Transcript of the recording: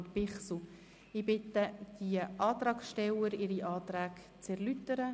Ich bitte die Antragsteller, ihre Anträge zu erläutern.